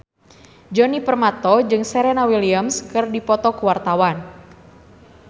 Djoni Permato jeung Serena Williams keur dipoto ku wartawan